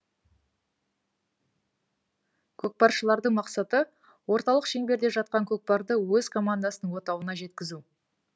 көкпаршылардың мақсаты орталық шеңберде жатқан көкпарды өз командасының отауына жеткізу